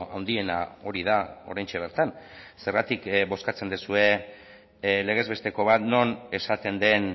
handiena hori da oraintxe bertan zergatik bozkatzen duzue legez besteko bat non esaten den